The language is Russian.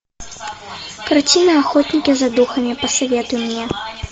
картина охотники за духами посоветуй мне